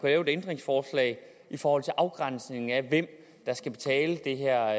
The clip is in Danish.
lave et ændringsforslag i forhold til afgrænsningen af hvem der skal betale det her